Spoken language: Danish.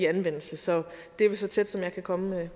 anvendelse så det er vel så tæt som jeg kan komme